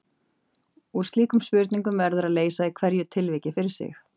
Úr slíkum spurningum verður að leysa í hverju tilviki fyrir sig.